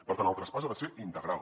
per tant el traspàs ha de ser integral